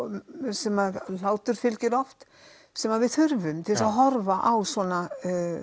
sem hlátur fylgir oft sem við þurfum til að horfa á svona